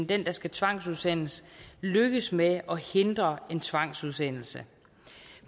den der skal tvangsudsendes lykkes med at hindre en tvangsudsendelse